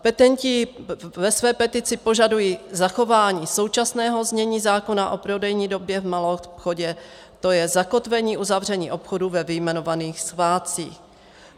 Petenti ve své petici požadují zachování současného znění zákona o prodejní době v maloobchodě, to je zakotvení uzavření obchodu ve vyjmenovaných svátcích.